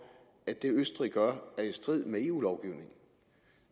at det østrig gør er i strid med eu lovgivningen